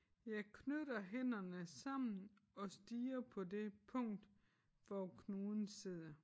Jeg knytter hænderne sammen og stirrer på det punkt hvor knuden sidder